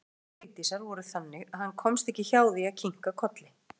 Röksemdir Vigdísar voru þannig að hann komst ekki hjá því að kinka kolli.